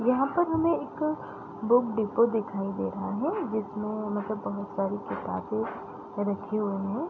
यहाँ पर हमे एक बुक डेपो दिखाई दे रहा है | जिसमे मतलब बहुत सारे किताबे रखी हुई हैं ।